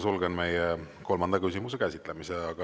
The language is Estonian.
Sulgen kolmanda küsimuse käsitlemise.